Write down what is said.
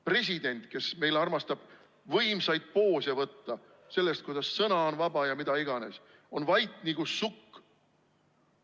President, kes meil armastab võimsaid poose võtta, kuidas sõna on vaba ja mida iganes, on vait nagu sukk.